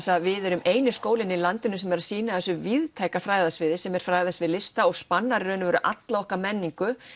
að við erum eini skólinn í landinu sem er að sinna þessu víðtæka fræðasviði sem er fræðasvið lista og spannar í raun og veru alla okkar menningu